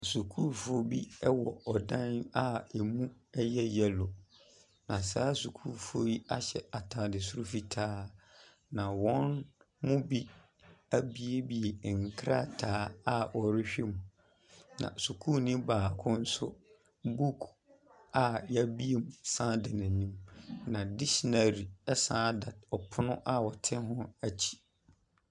Sukuufoɔ bi wɔ ɔdan a ɛmu yɛ yellow, na saa sukuufoɔ yi ahyɛ atde soro fitaa, na wɔn mu bi abuebue nkrataa a wɔrehwɛ mu, na sukuuni baako nso book a wɔabue mu sane da n'anim, na dictionary sane da pono a ɔte ho akyi.